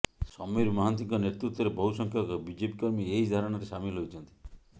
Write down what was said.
ସମୀର ମହାନ୍ତିଙ୍କ ନେତୃତ୍ୱରେ ବହୁସଂଖ୍ୟକ ବିଜେପି କର୍ମୀ ଏହି ଧାରଣାରେ ସାମିଲ ହୋଇଛନ୍ତି